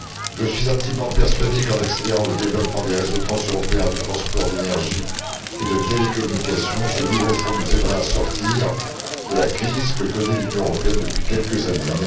Je suis intimement persuadé qu'en accélérant le développement des réseaux transeuropéens de transport, d'énergie et de télécommunications, ce nouveau fonds nous aidera à sortir de la crise que connaît l'Union européenne depuis quelques années.